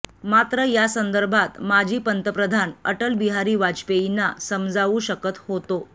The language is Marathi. मात्र यासंदर्भात माजी पंतप्रधान अटल बिहारी वाजपेयींना समजावू शकत होतो